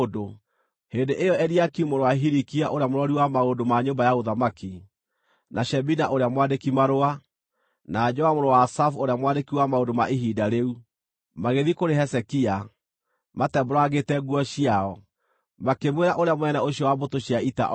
Hĩndĩ ĩyo Eliakimu mũrũ wa Hilikia ũrĩa mũrori wa maũndũ ma nyũmba ya ũthamaki, na Shebina ũrĩa mwandĩki-marũa, na Joa mũrũ wa Asafu ũrĩa mwandĩki wa maũndũ ma ihinda rĩu, magĩthiĩ kũrĩ Hezekia, matembũrangĩte nguo ciao, makĩmwĩra ũrĩa mũnene ũcio wa mbũtũ cia ita oigĩte.